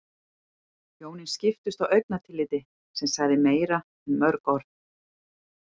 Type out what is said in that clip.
Hjónin skiptust á augnatilliti sem sagði meira en mörg orð.